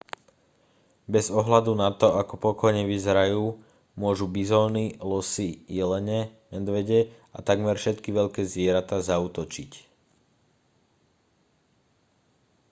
bez ohľadu na to ako pokojne vyzerajú môžu bizóny losy jelene medvede a takmer všetky veľké zvieratá zaútočiť